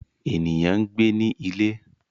Eniyan n gbe ni ile